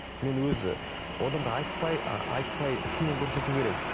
мен өз одан да айтпай ы айтпай ісімен көрсету керек